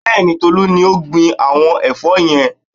Bẹ́ẹ̀ni, Tolú ni ó gbin àwọn ẹ̀fọ́ yẹn